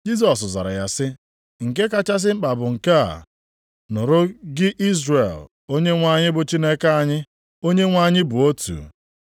Jisọs zara ya sị, “Nke kachasị mkpa bụ nke a, ‘Nụrụ gị Izrel, Onyenwe anyị bụ Chineke anyị, Onyenwe anyị bụ otu.